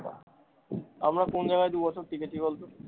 আমরা কোন জায়গায় দু বছর টিকেছি বলতো?